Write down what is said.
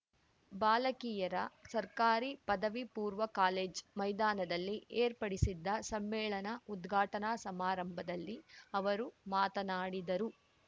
ಬಾಲಕಿಯರ ಸರ್ಕಾರಿ ಪದವಿ ಪೂರ್ವ ಕಾಲೇಜ್‌ ಮೈದಾನದಲ್ಲಿ ಏರ್ಪಡಿಸಿದ್ದ ಸಮ್ಮೇಳನ ಉದ್ಘಾಟನಾ ಸಮಾರಂಭದಲ್ಲಿ ಅವರು ಮಾತನಾಡಿದರು